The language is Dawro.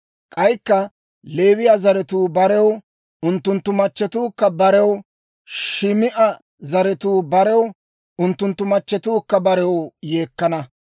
K'aykka Leewiyaa zaratuu barew, unttunttu machchetuukka barew, Shim"a zaratuu barew, unttunttu machchetuukka barew yeekkana.